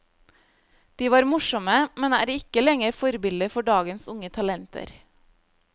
De var morsomme, men er ikke lenger forbilder for dagens unge talenter.